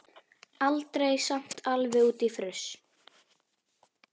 Aldrei samt alveg út í fruss.